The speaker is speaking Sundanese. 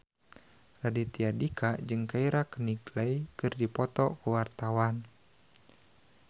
Raditya Dika jeung Keira Knightley keur dipoto ku wartawan